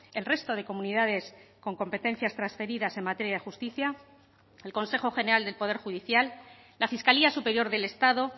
el resto de comunidades con competencias transferidas en materia de justicia el consejo general del poder judicial la fiscalía superior del estado